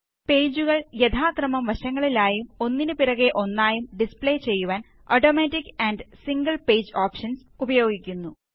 പേജുകള് യഥാക്രമം വശങ്ങളിലായും ഒന്നിന് പിറകെ ഒന്നായും ഡിസ്പ്ലേ ചെയ്യുവാന് automatic amp single page options ഉപയോഗിക്കുന്നു